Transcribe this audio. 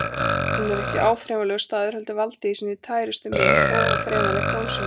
Hún er ekki áþreifanlegur staður heldur valdið í sinni tærustu mynd, óáþreifanlegt, ósýnilegt.